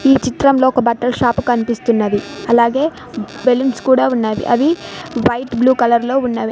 ఈ చిత్రంలో ఒక బట్టల షాపు కనిపిస్తున్నది అలాగే బెలూన్స్ కూడా ఉన్నవి అవి వైట్ బ్లూ కలర్ లో ఉన్నవి.